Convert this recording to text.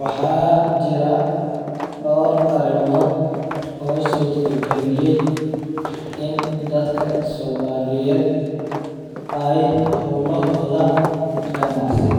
Waxaa jira door arimood oo surta galiyay in dadka somaliyeed aay howlahooda hanacsi